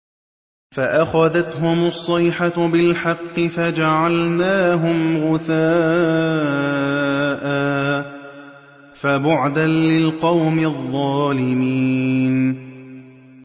فَأَخَذَتْهُمُ الصَّيْحَةُ بِالْحَقِّ فَجَعَلْنَاهُمْ غُثَاءً ۚ فَبُعْدًا لِّلْقَوْمِ الظَّالِمِينَ